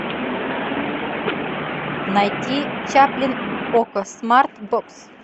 найти чаплин окко смарт бокс